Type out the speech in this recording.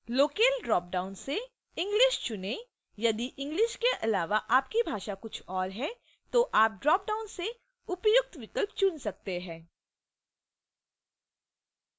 locale drop down से english चुनें यदि english के अलावा आपकी भाषा कुछ ओर है तो आप dropdown से उपयुक्त विकल्प चुन सकते हैं